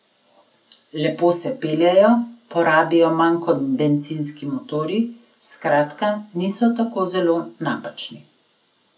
Lepo se peljejo, porabijo manj kot bencinski motorji, skratka niso tako zelo napačni.